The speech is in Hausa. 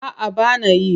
A'a ba na yi.